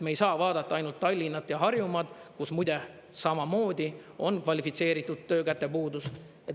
Me ei saa vaadata ainult Tallinna ja Harjumaad, kus, muide, samamoodi on kvalifitseeritud töökäte puudus.